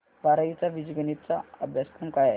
बारावी चा बीजगणिता चा अभ्यासक्रम काय आहे